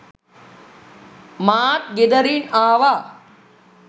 මාත් ගෙදරින් ආවා